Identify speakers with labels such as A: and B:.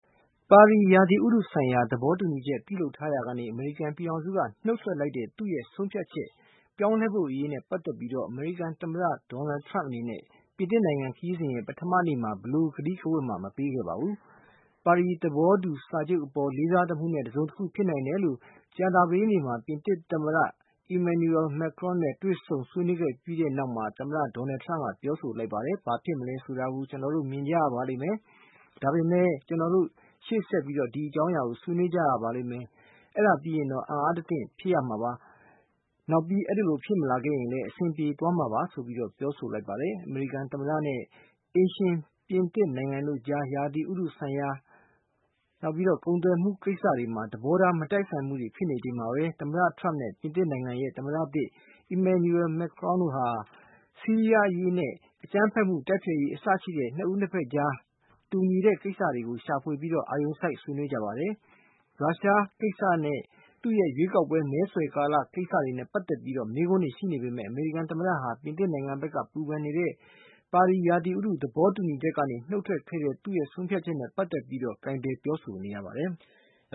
A: ပါရီ ရာသီဥတုဆိုင်ရာ သဘောတူညီချက် ပြုလုပ်ထားရာကနေ အမေရိကန်ပြည်ထောင်စုက နှုတ်ထွက် လိုက်တဲ့ သူ့ရဲ့ ဆုံးဖြတ်ချက် ပြောင်းလဲဖို့နဲ့ ပတ်သက်ပြီး သမ္မတDonald Trump အနေနဲ့ ပြင်သစ်နိုင်ငံ ခရီးစဉ် ပထမနေ့မှာ ဘယ်လို ကတိကဝတ်မှ မပေးခဲ့ပါဘူး။ ပါရီသဘောတူ စာချုပ် အပေါ်လေးစားသမှုနဲ့ တစုံတခုဖြစ်နိုင်တယ်လို့ ကြာသပတေးနေ့မှာ ပြင်သစ် သမ္မတEmmanuel Macron နဲ့ တွေ့ဆုံ ဆွေးနွေးခဲ့ပြီးတဲ့ နောက်မှာ သမ္မတ Donald Trump က ပြောဆိုလိုက်ပါတယ်။ "ဘာဖြစ်မလဲဆိုတာ ကျနော်တို့ မြင်ကြရပါလိမ့်မယ်။ ဒါပေမဲ့ ကျနော်တို့ ရှေ့ဆက် ဒီအကြောင်းအရာကို ဆွေးနွေး ကြပါလိမ့်မယ်။ အဲဒါပြီးရင်တော့ အံ့အားတသင့် ဖြစ်ရပါလိမ့်မယ်။ နောက်ပြီး အဲဒီလိုဖြစ်မလာခဲ့ရင်လည်း အဆင်ပြေသွားမှာပါ"လို့ ပြောပါတယ်။ အမေရိကန်သမ္မတနဲ့ အိမ်ရှင်ပြင်သစ် နိုင်ငံတို့ကြား ရာသီဥတုဆိုင်ရာနဲ့ ကုန်သွယ်မှု ကိစ္စတွေမှာ သဘောထား မတိုက်ဆိုင်မှုတွေ ဖြစ်နေချိန်မှာပဲ မစ္စတာ Trump နဲ့ ပြင်သစ်နိုင်ငံ သမ္မတသစ် Emmanuel Macron တို့ဟာ ဆီးရီးယားအရေးနဲ့ အကြမ်းဖက်မှု တိုက်ဖျက်ရေး အစရှိတဲ့ နှစ်ဦး နှစ်ဖက်ကြား တူညီတဲ့ ကိစ္စတွေကို ရှာဖွေပြီး အာရုံစိုက် ဆွေးနွေးကြပါတယ်။ ရုရှားအရေးကိစ္စနဲ့ သူ့ရဲ့ ရွေးကောက်ပွဲ မဲဆွယ်ကာလ ကိစ္စ စတာတွေနဲ့ ပတ်သက်တဲ့ မေးခွန်းတွေရှိနေပေမဲ့ အမေရိကန် သမ္မတဟာ ပြင်သစ်နိုင်ငံဘက်က ပူပန်နေတဲ့ ပါရီရာသီဥတု သဘောတူညီချက်ကနေ နှုတ်ထွက်ခဲ့တဲ့ သူ့ရဲ့ ဆုံးဖြတ်ချက်နဲ့ ပတ်သက်ပြီးတော့လည်း အလေးဂရုပြု ပြောဆိုနေရပါတယ်။